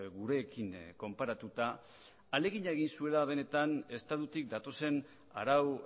gurekin konparatuta ahalegina egin zuela benetan estatutik datozen arau